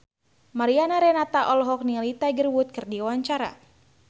Mariana Renata olohok ningali Tiger Wood keur diwawancara